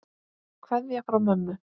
Kveðja frá mömmu.